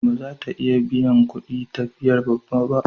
Ba za ta iya biyan kudin katifar babba ba.